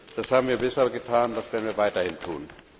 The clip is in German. Das haben wir bisher getan, das werden wir weiterhin tun.